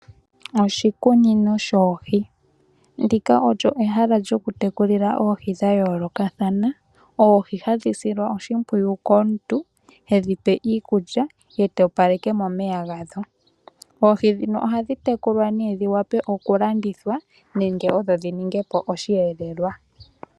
Oshikunino shoohi, ndika olyo ehala lyoku tekulila oohi dha yoolokathana, oohi hadhi silwa oshimpwiyu komuntu, hedhi pe iikulya ye ta opaleke momeya gadho. Oohi ndhino ohadhi tekulwa nee dhi wape oku landithwa nenge odho dhi ninge po osheelelwa.